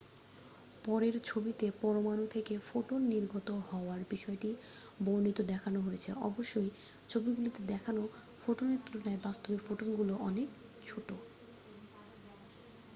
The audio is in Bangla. পরের ছবিতে পরমাণু থেকে ফোটন নির্গত হওয়ার বিষয়টি বর্ণিত দেখানো হয়েছে অবশ্যই ছবিগুলিতে দেখানো ফোটনের তুলনায় বাস্তবে ফোটনগুলি অনেক ছোট